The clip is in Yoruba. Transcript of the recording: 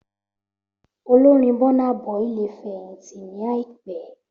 Olórin Burna Boy lè fẹ̀yìntì ní àìpé